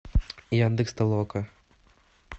яндекс толока